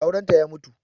Aurenta ya mutu